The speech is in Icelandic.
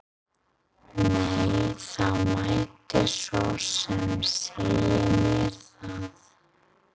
Nei, það mætti svo sem segja mér það.